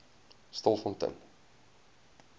stilfontein